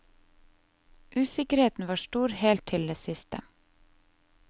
Usikkerheten var stor helt til det siste.